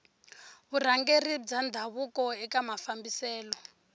vurhangeri bya ndhavuko eka mafambiselo